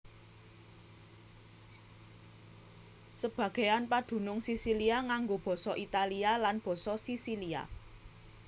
Sebagéan padunung Sisilia nganggo basa Italia lan basa Sisilia